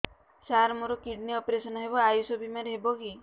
ସାର ମୋର kidney operation ହେବ ଆୟୁଷ ବିମାରେ ହେବ କି